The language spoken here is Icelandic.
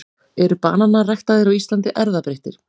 eru bananar ræktaðir á íslandi erfðabreyttir